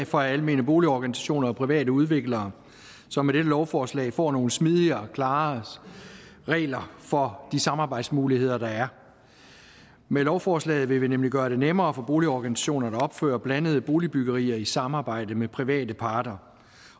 for almene boligorganisationer og private udviklere som med dette lovforslag får nogle smidigere og klarere regler for de samarbejdsmuligheder der er med lovforslaget vil vi nemlig gøre det nemmere for boligorganisationer at opføre blandet boligbyggerier i samarbejde med private parter